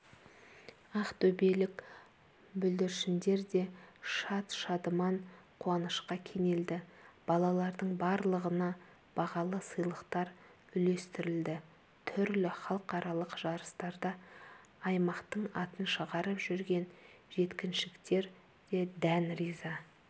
ақтөбелік бүлдіршіндер де шат-шадыман қуанышқа кенелді балалардың барлығына бағалы сыйлықтар үлестірілді түрлі халықаралық жарыстарда аймақтың атын шығарып жүрген жеткіншектер дән риза